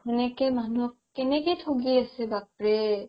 সেনেকে মানুহক কেনেকে থগি আছে বাপ ৰে